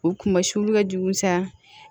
U kumasulu ka jugu sa